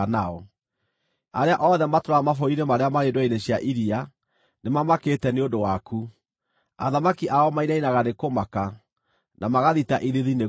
Arĩa othe matũũraga mabũrũri-inĩ marĩa marĩ ndwere-inĩ cia iria nĩmamakĩte nĩ ũndũ waku; athamaki ao mainainaga nĩ kũmaka, na magathita ithiithi nĩ guoya.